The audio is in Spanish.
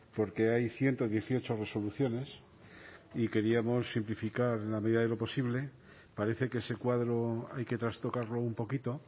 porque hay ciento dieciocho resoluciones y queríamos simplificar en la medida de lo posible parece que ese cuadro hay que trastocarlo un poquito